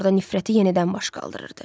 Hallorda nifrəti yenidən baş qaldırırdı.